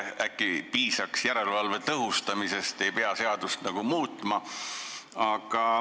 Äkki piisaks järelevalve tõhustamisest ega peagi seadust muutma?